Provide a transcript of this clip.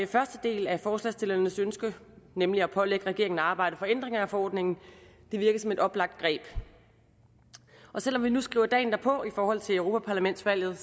første del af forslagsstillernes ønske nemlig at pålægge regeringen at arbejde for ændringer af forordningen virker som et oplagt greb og selv om vi nu skriver dagen derpå i forhold til europaparlamentsvalget